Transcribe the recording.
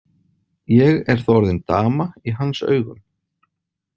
Ég er þá orðin dama í hans augum.